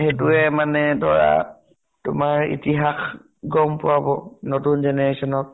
সেইটোয়ে মানে ধৰা তোমাৰ ইতিহাস গম পোৱাব, নতুন generation ক।